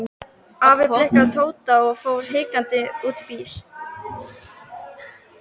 Afi blikkaði Tóta og fór hikandi út í bíl.